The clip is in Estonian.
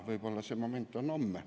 Võib-olla see moment on homme.